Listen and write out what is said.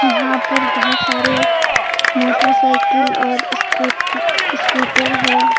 यहां पर बहोत सारे मोटरसाइकिल और स्कूटी स्कूटर है।